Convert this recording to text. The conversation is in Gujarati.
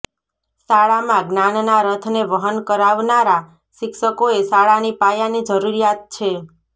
શાળામાં જ્ઞાનના રથને વહન કરાવનારા શિક્ષકોએ શાળાની પાયાની જરૂરિયાત છે